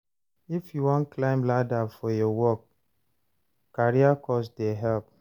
If you wan climb ladder for your work, career course dey help.